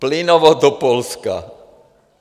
Plynovod do Polska.